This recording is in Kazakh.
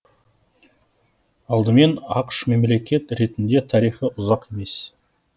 алдымен ақш мемлекет ретінде тарихы ұзақ емес